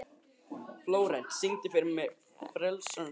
Flórent, syngdu fyrir mig „Frelsarans slóð“.